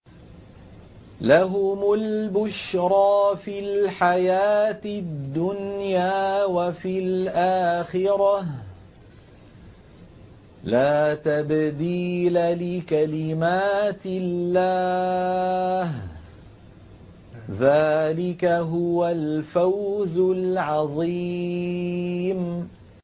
لَهُمُ الْبُشْرَىٰ فِي الْحَيَاةِ الدُّنْيَا وَفِي الْآخِرَةِ ۚ لَا تَبْدِيلَ لِكَلِمَاتِ اللَّهِ ۚ ذَٰلِكَ هُوَ الْفَوْزُ الْعَظِيمُ